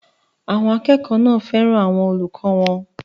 Àwọn akẹ́kọ̀ọ́ náà fẹ́ràn àwọn olùkọ́ wọn.